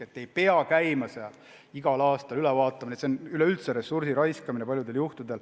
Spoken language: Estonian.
Ei pea käima seal igal aastal üle vaatamas, see on paljudel juhtudel ressursi raiskamine.